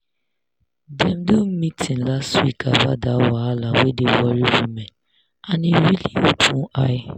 dem do meeting last week about that wahala wey dey worry women and e really open eye.